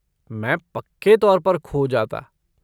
मैं पक्के तौर पर खो जाता।